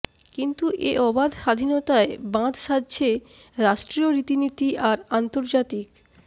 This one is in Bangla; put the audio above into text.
কিন্তু এ অবাধ স্বাধীনতায় বাঁধ সাজছে রাষ্ট্রীয় রীতিনীতি আর আন্তর্জাতিক